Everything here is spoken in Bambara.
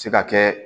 Se ka kɛ